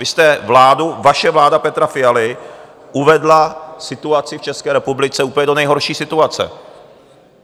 Vy jste vládou, vaše vláda Petra Fialy uvedla situaci v České republice úplně do nejhorší situace.